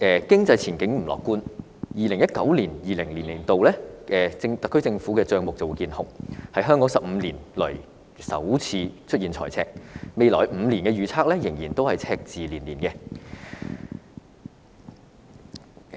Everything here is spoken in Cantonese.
經濟前景不樂觀 ，2019-2020 年度特區政府的帳目見紅，是香港15年來首次出現財赤，未來5年的預測仍然是赤字連連。